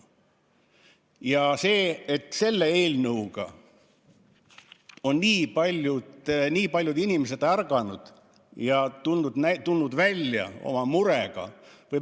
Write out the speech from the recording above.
Ja selle eelnõu peale on nii paljud inimesed ärganud ja tulnud välja oma murega.